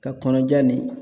Ka kɔnɔja nin